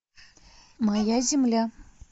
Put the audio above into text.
моя земля